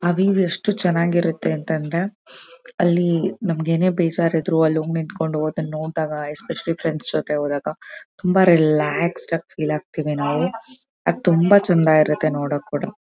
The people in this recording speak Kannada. ಆಹ್ಹ್ ವ್ಯೂ ಎಷ್ಟು ಚೆನ್ನಾಗಿರುತ್ತೆ ಅಂತ ಅಂದ್ರೆ ಅಲ್ಲಿ ನಮಗೆ ಏನು ಬೇಜಾರ್ ಇದ್ರು ಅಲ್ ಒಮ್ಮೆ ನಿತ್ಕೊಂಡ್ ಅದನ್ನ ನೋಡಿದಾಗ ಎಸ್ಫೇಷಿಯಲ್ಯ್ ಫ್ರೆಂಡ್ಸ್ ಜೊತೆ ಹೋದಾಗ ರಿಲ್ಯಾಕ್ಸ್ ಆಗಿ ಫೀಲ್ ಆಗತೀವಿ ನಾವು ಅದ್ ತುಂಬಾ ಚೆಂದ ಇರುತ್ತೆ ನೋಡೋಕ್ ಕೂಡ.